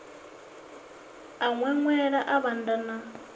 a ṅweṅwela a vhanda na